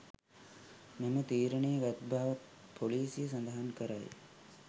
මෙම තීරණය ගත් බවත් පොලීසිය සඳහන් කරයි.